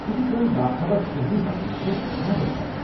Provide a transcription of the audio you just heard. یہ چھٗ تمن باخبر شہری بننس منٛز مدتھ کران۔